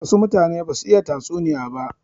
Wasu mutane ba su iya tatsuniya ba.